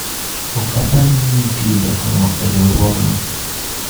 ok apar ni nitie jakong'o e riwruogno